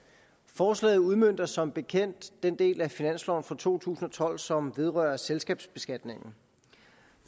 forslaget udmønter som bekendt den del af finansloven for to tusind og tolv som vedrører selskabsbeskatningen